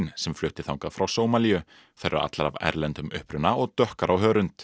sem flutti þangað frá Sómalíu þær eru allar af erlendum uppruna og dökkar á hörund